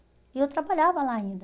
E eu trabalhava lá ainda.